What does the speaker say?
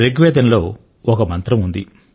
రుగ్వేదంలో ఒక మంత్రం ఉంది